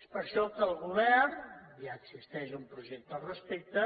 és per això que el govern ja existeix un projecte al respecte